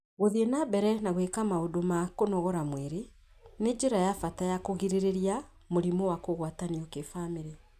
Gũthiĩ na mbere na gwĩka maũndũ ma kũnogora mwĩrĩ nĩ njĩra ya bata ya kũgirĩrĩria mũrimũ wa kũgwatanio kĩbamĩrĩ